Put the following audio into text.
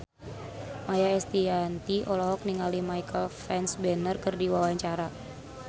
Maia Estianty olohok ningali Michael Fassbender keur diwawancara